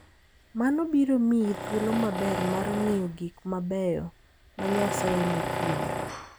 Mano biro miyi thuolo maber mar ng'iyo gik mabeyo ma Nyasaye nochueyo.